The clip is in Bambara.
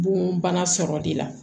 Bon bana sɔrɔ de la